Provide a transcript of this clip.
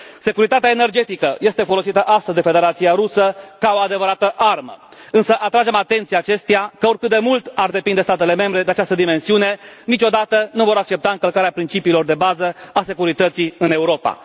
Securitatea energetică este folosită astăzi de Federația Rusă ca o adevărată armă, însă atragem atenția acesteia, că, oricât de mult ar depinde statele membre de această dimensiune, niciodată nu vor accepta încălcarea principiilor de bază a securității în Europa.